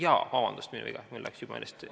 Jah, vabandust, minu viga, mul läks juba meelest.